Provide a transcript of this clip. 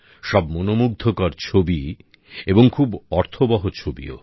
সব মনমুগ্ধকর ছবি এবং খুব অর্থবহ ছবিও